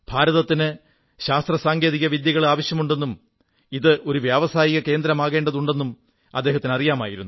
ഭാരതത്തിന് ശാസ്ത്രസാങ്കേതിക വിദ്യകളാവശ്യമുണ്ടെന്നും ഇത് ഒരു വ്യാവസായിക കേന്ദ്രമാകേണ്ടതുണ്ടെന്നും അദ്ദേഹത്തിനറിയാമായിരുന്നു